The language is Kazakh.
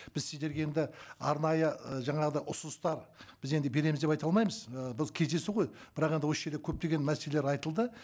біз сіздерге енді арнайы ыыы жаңағыдай ұсыныстар біз енді береміз деп айта алмаймыз і біз кездесу ғой бірақ енді осы жерде көптеген мәселелер айтылды